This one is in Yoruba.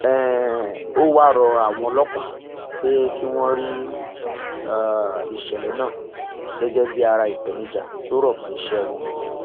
um ó wáá rọ àwọn ọlọpàá pé kí wọn rí um ìṣẹlẹ náà gẹgẹ bíi ara ìpèníjà tó rọ mọ iṣẹ wọn